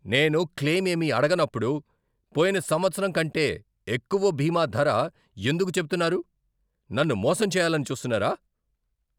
నేను క్లెయిమ్ ఏమీ అడగనప్పుడు పోయిన సంవత్సరం కంటే ఎక్కువ బీమా ధర ఎందుకు చెబుతున్నారు? నన్ను మోసం చేయాలని చూస్తున్నారా?